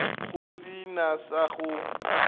go se na sa go